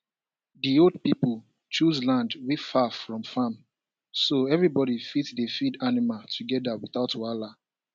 the old pipo choose land wey far from farm so everybody fit dey feed animal together without wahala